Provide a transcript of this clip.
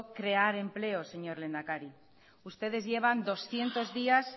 crear empleo señor lehendakari ustedes llevan doscientos días